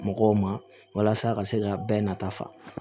Mɔgɔw ma walasa a ka se ka bɛɛ nafa